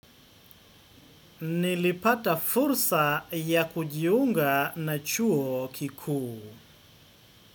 Nilipata fursa ya kujiunga na chuo kikuu.